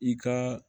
I ka